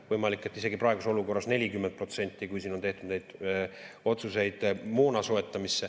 Võimalik, et isegi praeguses olukorras 40%, kui siin on tehtud neid otsuseid moona soetamiseks.